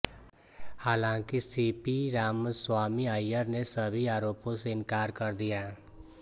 हालांकि सीपी रामस्वामी अय्यर ने सभी आरोपो से इनकार कर दिया